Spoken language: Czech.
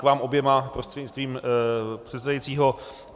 K vám oběma, prostřednictvím předsedajícího.